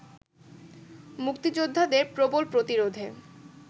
মুক্তিযোদ্ধাদের প্রবল প্রতিরোধে